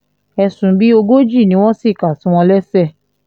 ẹ̀sùn bíi ogójì ni wọ́n sì kà sí wọn lẹ́sẹ̀